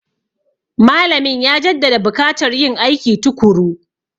Malamin ya jaddada bukatar yin aiki tukuru.